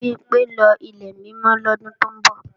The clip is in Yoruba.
Bimpé ń lọ Ilẹ̀ Mímọ́ lọ́dún tó ń bọ̀